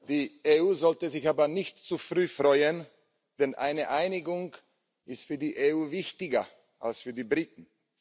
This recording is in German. Die EU sollte sich aber nicht zu früh freuen, denn eine Einigung ist für die EU wichtiger als für die Briten.